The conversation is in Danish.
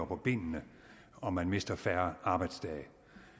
på benene og man mister færre arbejdsdage